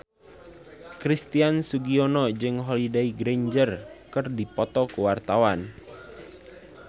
Christian Sugiono jeung Holliday Grainger keur dipoto ku wartawan